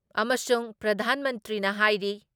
ꯑꯃꯁꯨꯡ ꯄ꯭ꯔꯙꯥꯟ ꯃꯟꯇ꯭ꯔꯤꯅ ꯍꯥꯏꯔꯤ